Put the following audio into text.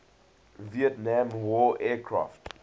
vietnam war aircraft